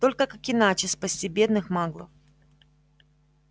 только как иначе спасти бедных маглов